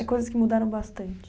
É coisas que mudaram bastante?